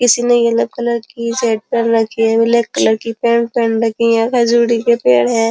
किसी ने yellow colour की शर्ट पहन रखी है। ब्लैक कलर की पैन्ट रखी है। खजुरी के पेड़ है।